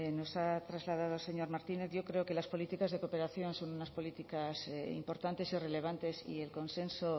nos ha trasladado el señor martínez yo creo que las políticas de cooperación son unas políticas importantes y relevantes y el consenso